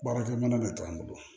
Baarakɛ minɛn bɛ to an bolo